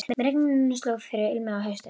Með regninu sló fyrir ilmi af hausti.